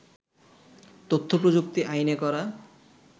তথ্য প্রযুক্তি আইনে করা